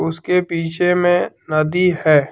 उसके पीछे में नदी है।